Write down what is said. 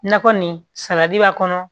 Nakɔ nin salati b'a kɔnɔ